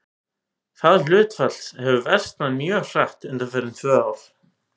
Það hlutfall hefur versnað mjög hratt undanfarin tvö ár.